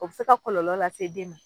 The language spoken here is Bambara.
O be se ka kɔlɔlɔ lase den ma